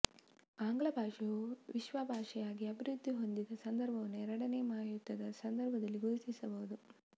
ಆಂಗ್ಲಭಾಷೆಯು ವಿಶ್ವಭಾಷೆಯಾಗಿ ಅಭಿವೃದ್ದಿಹೊಂದಿದ ಸಂದರ್ಭವನ್ನು ಎರಡನೆಯ ಮಹಾಯುದ್ಧದ ಸಂದರ್ಭ ದಲ್ಲಿ ಗುರುತಿಸಬಹುದು